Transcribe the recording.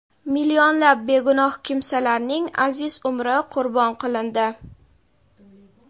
millionlab begunoh kimsalarning aziz umri qurbon qilindi.